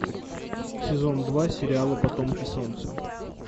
сезон два сериала потомки солнца